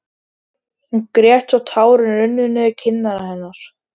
Hún grét svo tárin runnu niður kinnar hennar.